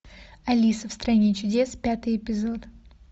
алиса в стране чудес пятый эпизод